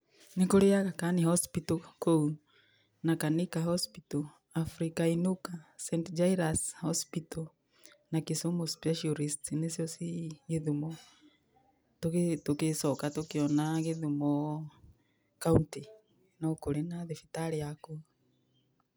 Nĩ kũrĩ Agha khan Hospital kũu na Kannika Hospital, Africa Inuka, Saint Jairus Hospital na Kisumu Specialist, nĩcio ciĩ Gĩthumo. Tũgĩcoka tũkĩona Gĩthumo kauntĩ no kũrĩ na thibitarĩ ya kuo.